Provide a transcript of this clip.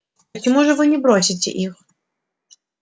почему же вы не бросите их